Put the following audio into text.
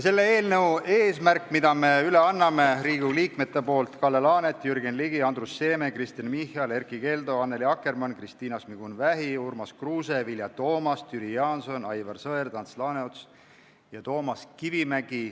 Eelnõu annavad üle Riigikogu liikmed Kalle Laanet, Jürgen Ligi, Andrus Seeme, Kristen Michal, Erkki Keldo, Annely Akkermann, Kristina Šmigun-Vähi, Urmas Kruuse, Vilja Toomast, Jüri Jaanson, Aivar Sõerd, Ants Laaneots ja Toomas Kivimägi.